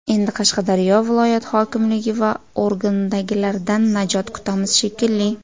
Endi Qashqadaryo viloyat hokimligi va organdagilardan najot kutamiz, shekilli.